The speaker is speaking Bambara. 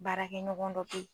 Baarakɛɲɔgɔn dɔ bɛ ye.